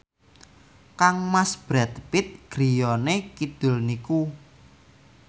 kangmas Brad Pitt griyane kidul niku